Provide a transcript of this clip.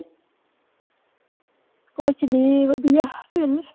ਕੁਛ ਨੀ ਵਧੀਆ ਵਿਹਲੇ।